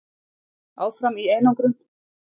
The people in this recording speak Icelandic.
Áfram í einangrun